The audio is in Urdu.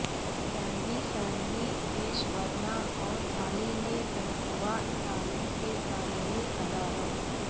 ثانوی ثانوی پیشہ ورانہ اور اعلی نے تنخواہ تعلیم کے تعلیمی اداروں